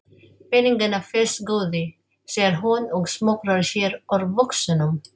Peningana fyrst góði, segir hún og smokrar sér úr buxunum.